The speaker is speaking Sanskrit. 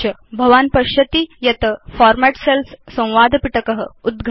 भवान् पश्यति यत् फॉर्मेट् सेल्स् संवादपिटक उद्घटति